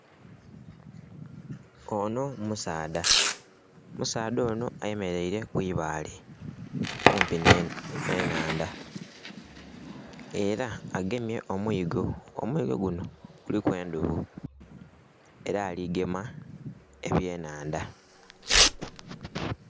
Ono musaadha, omusaadha ono ayemereire ku ibaale kumpi n'ennhandha era agemye omwigo, omwigo guno guliku endhobo era aligema eby'enhandha.